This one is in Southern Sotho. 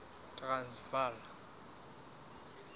transvala